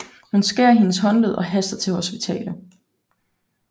Hun skærer hendes håndled og haster til hospitalet